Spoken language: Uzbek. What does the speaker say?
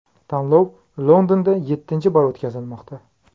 Tanlov Londonda yettinchi bor o‘tkazilmoqda.